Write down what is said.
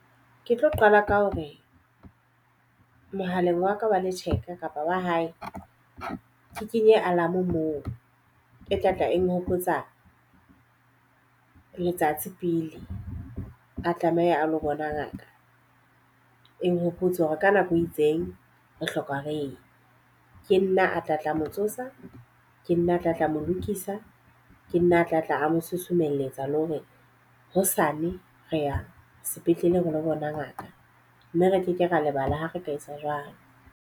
Ke tlo qala ka ho re mohaleng wa ka wa le theka kapa wa hae ke kenye alarm moo e tla tla e nhopotsa letsatsi pele a tlameha a lo bona ngaka. E nhopotsa hore ka nako e itseng re hloka reye. Ke nna a tla tla mo tsosa, ke nna a tla tla mo lokisa, ke nna a tlatla a mo susumelletsa le hore hosane re ya sepetlele re lo bona ngaka. Mme re ke ke ra lebala ha re ka etsa jwalo.